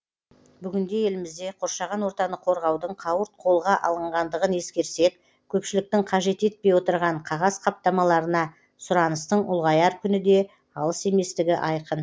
бүгінде елімізде қоршаған ортаны қорғаудың қауырт қолға алынғандығын ескерсек көпшіліктің қажет етпей отырған қағаз қаптамаларына сұраныстың ұлғаяр күні де алыс еместігі айқын